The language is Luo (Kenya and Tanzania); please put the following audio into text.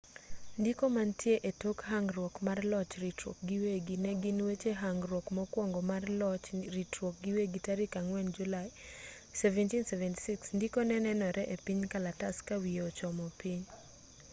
ndiko mantie etok hangruok mar loch ritruok giwegi negin weche hangruok mokwongo mar loch ritruok giwegi tarik 4 julai 1776 ndiko nenore-epiny kalatas kawiye ochomo piny